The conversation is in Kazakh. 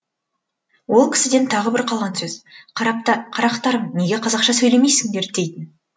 ол кісіден тағы бір қалған сөз қарақтарым неге қазақша сөйлемейсіңдер дейтін